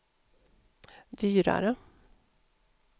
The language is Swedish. dyrare